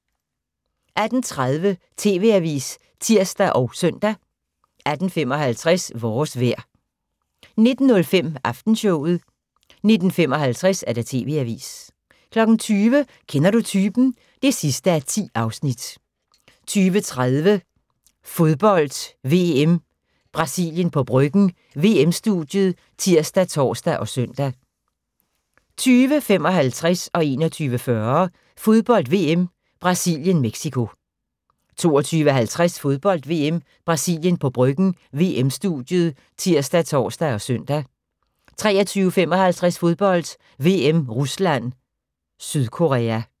18:30: TV-avisen (tir og søn) 18:55: Vores vejr 19:05: Aftenshowet 19:55: TV-avisen 20:00: Kender du typen? (10:10) 20:30: Fodbold: VM - Brasilien på Bryggen – VM-studiet ( tir, tor, søn) 20:55: Fodbold: VM - Brasilien-Mexico 21:40: Fodbold: VM - Brasilien-Mexico 22:50: Fodbold: VM - Brasilien på Bryggen – VM-studiet ( tir, tor, søn) 23:55: Fodbold: VM - Rusland-Sydkorea